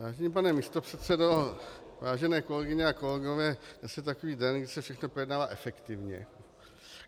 Vážený pane místopředsedo, vážené kolegyně a kolegové, dnes je takový den, kdy se všechno projednává efektivně.